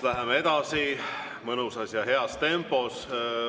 Läheme edasi mõnusas ja heas tempos.